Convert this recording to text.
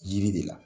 Yiri de la